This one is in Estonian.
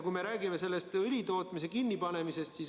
Me räägime õlitootmise kinnipanemisest.